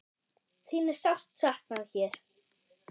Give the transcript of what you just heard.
Þín er sárt saknað hér.